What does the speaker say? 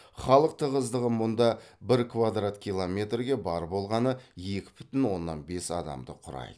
халық тығыздығы мұнда бір квадрат километрге бар болғаны екі бүтін оннан бес адамды құрайды